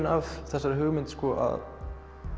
af þessari hugmynd að